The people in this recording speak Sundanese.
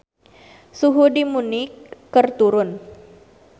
Suhu di Munich keur turun